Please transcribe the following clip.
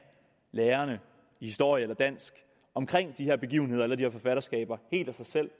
lærerne i historie og dansk helt omkring de her begivenheder eller de her forfatterskaber helt af sig selv